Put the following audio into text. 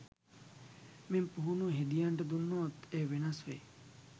මෙම පුහුණුව හෙදියන්ට දුන්නොත් එය වෙනස් වෙයි.